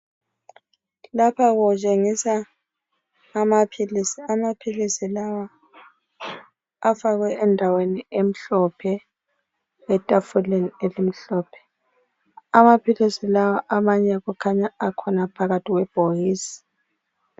Lapha kutshengisa amaphilisi, amaphilisi lawa afakwe endaweni emhlophe etafuleni elimhlophe. Amaphilisi lawa amanye kukhanya akhona phakathi kwebhokisi.